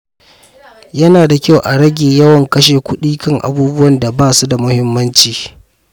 Yana da kyau a rage yawan kashe kuɗi kan abubuwan da ba su da muhimmanci.